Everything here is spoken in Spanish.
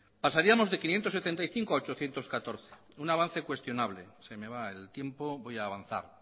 pasaríamos de quinientos setenta y cinco a ochocientos catorce un avance cuestionable se me va el tiempo voy a avanzar